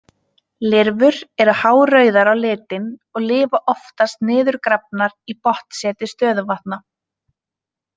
Lirfur eru hárauðar á litinn og lifa oftast niðurgrafnar í botnseti stöðuvatna.